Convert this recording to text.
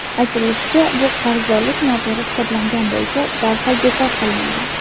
Aytilishicha, bu qarzdorlik noto‘g‘ri hisoblangan bo‘lsa, darhol bekor qilinadi.